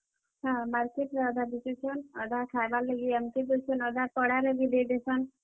ହଁ, ମାର୍କଟରେ ଅଧା ବିକୁଛନ୍, ଅଧା ଖାଏବାର୍ ଲାଗି ଆନସନ୍, ଅଧା ପଡାରେ ବି ଦେଇଦେସନ୍।